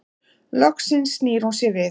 Loks snýr hún sér við.